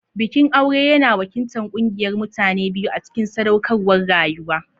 Bikin aure yana wakiltar ƙungiyar mutane biyu a cikin sadaukarwar rayuwa.